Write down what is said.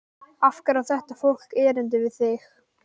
Af hverju á þetta fólk erindi við þig?